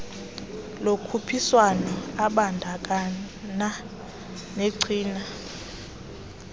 lokhuphiswano ebandakanya negcina